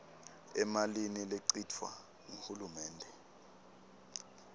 emalini lechitfwa nguhulumende